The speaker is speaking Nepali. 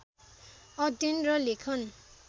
अध्ययन र लेखन